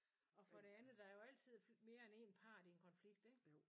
Og for det andet der jo altid mere end én part i en konflikt ikke